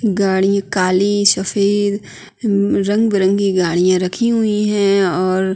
गाड़ी काली सफ़ेद रंग-बिरंगी गाड़ियाँ रखीं हुईं हैं और --